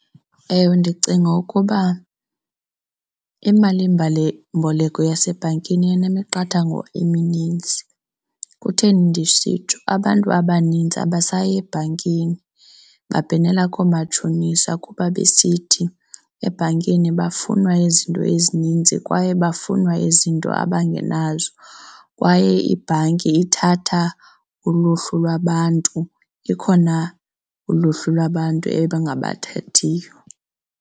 Ewe, ndicinga ukuba imalimboleko yasebhankini inemiqathango eminintsi. Kutheni ndisitsho? Abantu abaninzi abasayi ebhankini babhenela koomatshonisa kuba besithi ebhankini bafuna izinto ezininzi kwaye bafuna izinto abangenazo kwaye ibhanki ithatha uluhlu lwabantu, ikhona uluhlu lwabantu engabathathiyo.